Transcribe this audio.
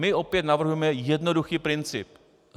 My opět navrhujeme jednoduchý princip.